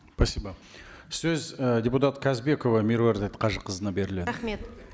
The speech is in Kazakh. спасибо сөз і депутат қазбекова меруерт қажықызына беріледі рахмет